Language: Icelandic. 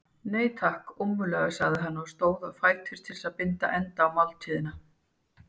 Nei, takk, ómögulega sagði hann og stóð á fætur til að binda enda á máltíðina.